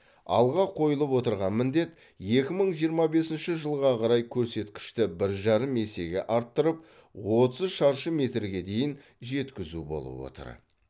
алға қойылып отырған міндет екі мың жиырма бесінші жылға қарай көрсеткішті бір жарым есеге арттырып отыз шаршы метрге дейін жеткізу болып отыр